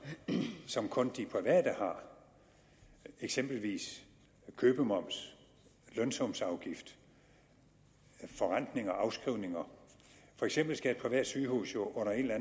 som kun de private har eksempelvis købsmoms lønsumsafgift og forrentning og afskrivning og for eksempel skal et privat sygehus jo under en eller